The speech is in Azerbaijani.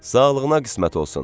Sağlığına qismət olsun.